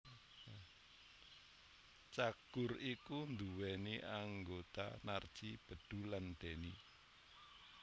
Cagur iku nduweni anggota Narji Bedu lan Denny